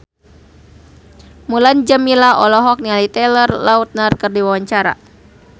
Mulan Jameela olohok ningali Taylor Lautner keur diwawancara